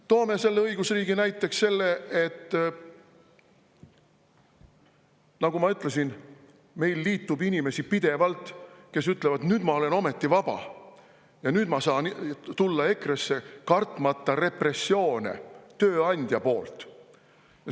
Toome õigusriigi näiteks selle, et nagu ma ütlesin, meiega liitub pidevalt inimesi, kes ütlevad: "Nüüd ma olen ometi vaba ja nüüd ma saan tulla EKRE-sse, kartmata tööandja repressioone selle pärast.